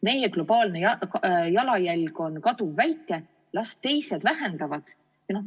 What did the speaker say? Meie globaalne jalajälg on kaduvväike, las teised lahendavad!